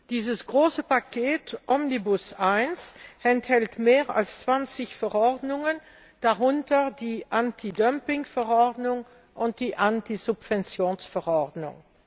Dieses große Omnibus I Paket enthält mehr als 20 Verordnungen, darunter die Anti Dumping Verordnung und die Anti Subventions Verordnung.